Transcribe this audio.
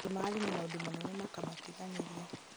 andũ mararĩ na maũndũ manene makamatiganĩria